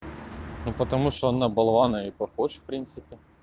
ну потому что он на болвана и похож в принципе